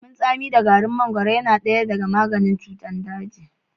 Lemun tsami da garin mangaro yana daya daga maganin cutar daji.